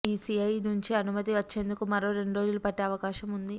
ECI నుంచి అనుమతి వచ్చేందుకు మరో రెండ్రోజులు పట్టే అవకాశం ఉంది